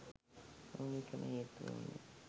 මූලිකම හේතුව වුණේ